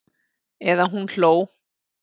Eða hún hló.